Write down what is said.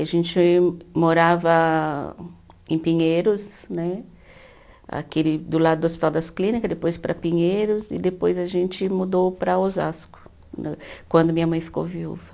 A gente morava em Pinheiros né, aquele do lado do Hospital das Clínicas, depois para Pinheiros, e depois a gente mudou para Osasco, quando minha mãe ficou viúva.